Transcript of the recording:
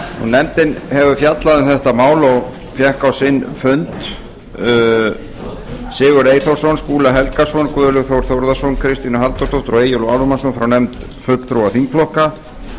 nefndin hefur fjallað um málið og fengið á sinn fund sigurð eyþórsson skúla helgason guðlaug þór þórðarson kristínu halldórsdóttur og eyjólf ármannsson frá nefnd fulltrúa þingflokka